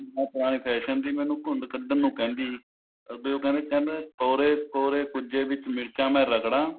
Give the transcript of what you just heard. ਮਾਂ ਪੁਰਾਣੇ fashion ਦੀ ਮੈਨੂੰ ਘ੍ਯੰਡ ਕੱਢਣ ਨੂੰ ਕਹਿੰਦੀ ਵੀ ਉਹ ਉਹ ਕਹਿੰਦਾ ਕੋਰੇ ਕੋਰੇ ਕੁੱਜੇ ਵਿੱਚ ਮਿਰਚਾਂ ਮੈਂ ਰਗੜਾਂ